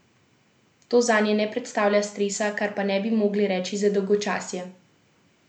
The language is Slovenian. To zanje ne predstavlja stresa, kar pa ne bi mogli reči za dolgočasje.